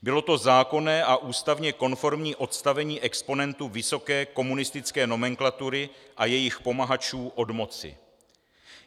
Bylo to zákonné a ústavně konformní odstavení exponentů vysoké komunistické nomenklatury a jejich pomahačů od moci.